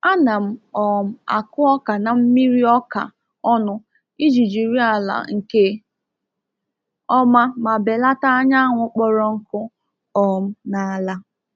A na m um akụ ọka na mmiri-ọka ọnụ iji jiri ala nke ọma ma belata anyanwụ kpọrọ nkụ um n’ala.